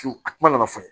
Su a kuma nana fɔ